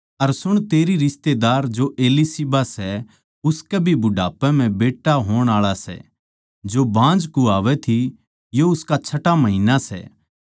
अर सुण तेरी रिश्तेदार जो एलीशिबा सै उसकै भी बुढ़ापे म्ह बेट्टा होण आळा सै जो बाँझ कहवावै थी यो उसका छठा महिन्ना सै